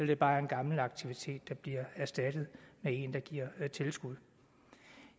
det bare er en gammel aktivitet der bliver erstattet af en der giver tilskud